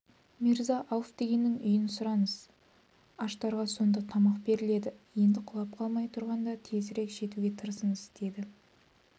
мирза-ауф дегеннің үйін сұраңыз аштарға сонда тамақ беріледі енді құлап қалмай тұрғанда тезірек жетуге тырысыңыз деді